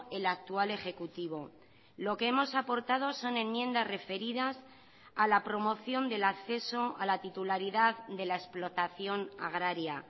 el actual ejecutivo lo que hemos aportado son enmiendas referidas a la promoción del acceso a la titularidad de la explotación agraria